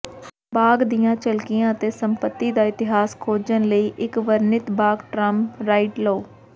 ਬਾਗ ਦੀਆਂ ਝਲਕੀਆਂ ਅਤੇ ਸੰਪੱਤੀ ਦਾ ਇਤਿਹਾਸ ਖੋਜਣ ਲਈ ਇਕ ਵਰਣਿਤ ਬਾਗ ਟਰਾਮ ਰਾਈਡ ਲਓ